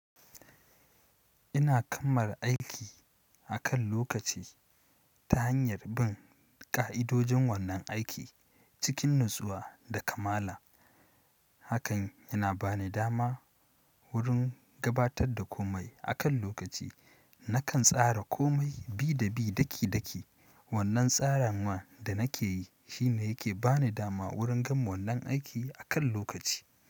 Ina kammala aiki akan lokaci ta hanyar bin ƙa'idojin wannan aiki cikin natsuwa da kamala. Hakan yana ba ni dama wurin gabatar da komai akan lokaci. Nakan tsara komai bi da bi daki-daki. Wannan tsaranwa da nake yi shi ne yake ba ni dama wurin gama wannan aiki akan lokaci.